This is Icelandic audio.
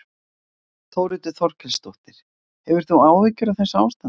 Þórhildur Þorkelsdóttir: Hefur þú áhyggjur af þessu ástandi?